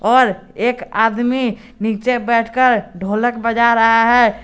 और एक आदमी नीचे बैठकर ढोलक बजा रहा है।